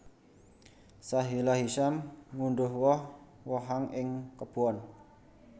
Sahila Hisyam ngundhuh woh wohan ing kebon